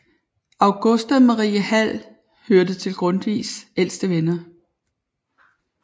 Augusta Marie Hall hørte til Grundtvigs ældste venner